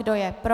Kdo je pro?